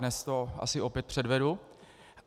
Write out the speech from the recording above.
Dnes to asi opět předvedu.